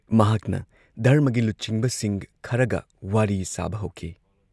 ꯃꯍꯥꯛꯅ ꯙꯔꯃꯒꯤ ꯂꯨꯆꯤꯡꯕꯁꯤꯡ ꯈꯔꯒ ꯋꯥꯔꯤ ꯁꯥꯕ ꯍꯧꯈꯤ